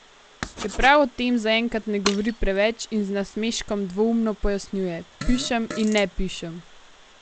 Čeprav o tem zaenkrat ne govori preveč in z nasmeškom dvoumno pojasnjuje: "Pišem in ne pišem.